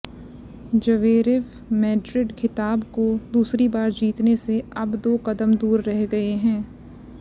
Zverev Madrid खिताब को दूसरी बार जीतने से अब दो कदम दूर रह गए हैं